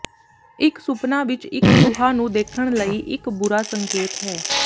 ਇੱਕ ਸੁਪਨਾ ਵਿੱਚ ਇੱਕ ਚੂਹਾ ਨੂੰ ਦੇਖਣ ਲਈ ਇੱਕ ਬੁਰਾ ਸੰਕੇਤ ਹੈ